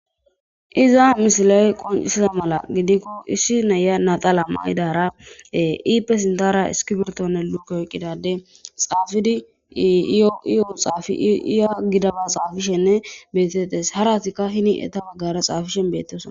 Iza misila'e qoncisaza mala gidikko issi neya natala maidara iipe sintara iskibertonne lukko eqqidade xaafidiiyo io xaafi iya gidaba xaafishenne betettes haratikka hini eta baggara xaafishen bettesona.